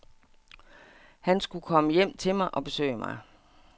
Han skulle komme hjem til mig og besøge mig.